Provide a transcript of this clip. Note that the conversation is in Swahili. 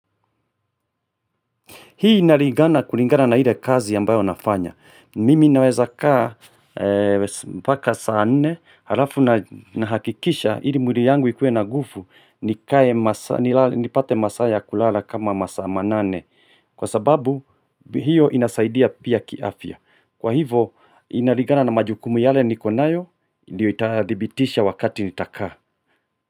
Hii inalingana kulingana na ile kazi ambayo nafanya. Mimi naweza kaa mpaka saa nne halafu nahakikisha ili mwili yangu ikuwe na nguvu nipate masaa ya kulala kama masaa manane. Kwa sababu hiyo inasaidia pia kiafya. Kwa hivo inalingana na majukumu yale niko nayo ndio itadhibitisha wakati nitakaa.